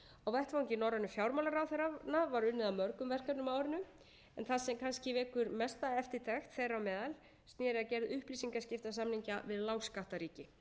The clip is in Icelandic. á vettvangi norrænu fjármálaráðherranna var unnið að mörgum verkefnum á árinu en það sem kannski vekur mesta eftirtekt þeirra á meðal sneri að gerð upplýsingaskiptasamninga við lágskattaríki en